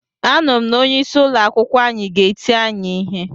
Anuru m na onye isi ụlọ akwụkwọ anyi ga-eti anyi ihe.